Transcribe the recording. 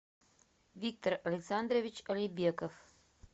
виктор александрович алибеков